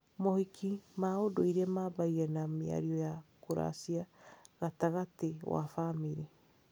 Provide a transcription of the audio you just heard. Mohiki ma ũndũire maambagia na mĩario ya kũracia gatagatĩ wa bamĩrĩ.